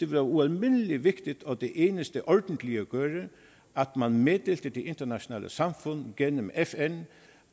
være ualmindelig vigtigt og det eneste ordentlige at gøre at man meddelte det internationale samfund gennem fn